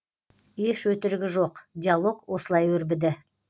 еш өтірігі жоқ диалог осылай өрбіді